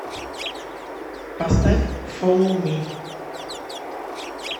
поставь фоллоу ми